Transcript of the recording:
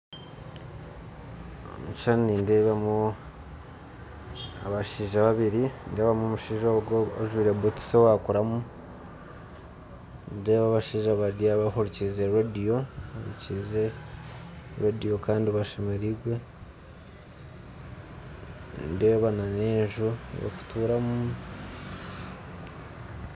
Omu kishushani nindeebamu abashaija babiri, nindeebamu omushaija ogwo ojwaire butusi owakuramu, nindeeba abashaija bari aho bahurikiize rediyo bahurikiize rediyo kandi bashemereirwe, nindeeba n'enju y'okutuuramu.